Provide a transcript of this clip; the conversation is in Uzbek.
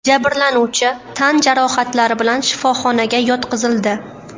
Jabrlanuvchi tan jarohatlari bilan shifoxonaga yotqizildi.